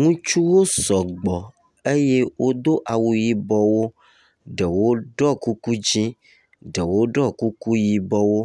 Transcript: Ŋutsuwo sɔgbɔ eye wodo awu yibɔwo. Ɖewo ɖɔ kuku dzɛ̃ ɖewo ɖɔ kuku yibɔwo,